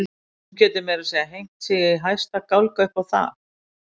Hún getur meira að segja hengt sig í hæsta gálga upp á það.